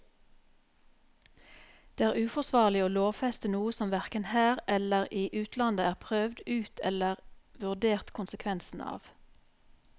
Det er uforsvarlig å lovfeste noe som hverken her eller i utlandet er prøvd ut eller vurdert konsekvensene av.